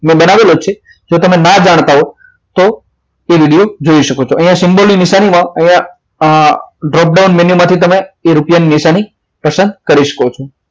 જો તમે ના જાણતા હો તો એ વિડિયો જોઈ શકો છો અહીં symbol ની નિશાની માં અહીંયા આ drop down value માંથી રૂપિયા ની નિશાની પસંદ કરી શકો છો